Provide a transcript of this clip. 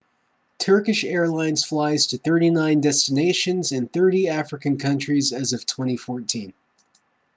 turkish airlines flies to 39 destinations in 30 african countries as of 2014